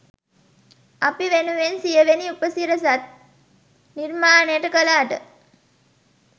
අපි වෙනුවෙන් සියවෙනි උපසිරසත් නිර්මාණයට කලාට